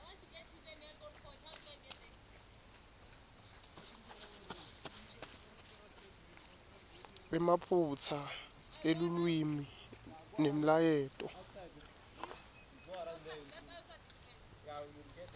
emaphutsa elulwimi nemlayeto